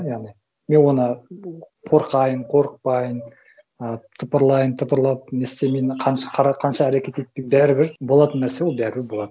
яғни мен оны қорқайын қорықпайын ы тыпырлайын тыпырлап не істемейін қара қанша әрекет етпейін бәрібір болатын нәрсе ол бәрібір болады